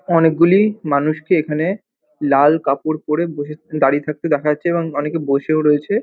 অনেকগুলি মানুষকে এখানে লাল কাপড় পড়ে বসে-এ দাঁড়িয়ে থাকতে দেখা যাচ্ছে এবং অনেকে বসেও রয়েছে।